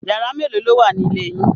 Yàrá mélòó ló wà ní ilé yín?